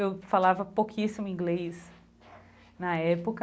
Eu falava pouquíssimo inglês na época.